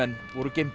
voru geymdir